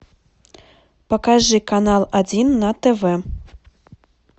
покажи канал один на тв